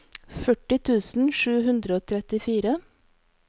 førti tusen sju hundre og trettifire